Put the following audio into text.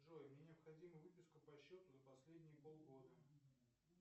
джой мне необходима выписка по счету за последние полгода